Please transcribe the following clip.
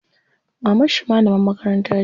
Mamarshi malamar makaranta ce.